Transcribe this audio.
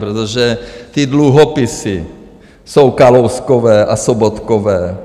Protože ty dluhopisy jsou Kalouskové a Sobotkové.